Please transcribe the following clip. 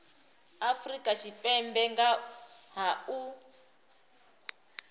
afrika tshipembe nga ha u